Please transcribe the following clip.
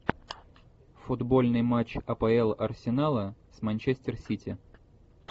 футбольный матч апл арсенала с манчестер сити